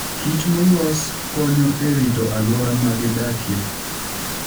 Kich molos konyo e rito alwora ma gidakie.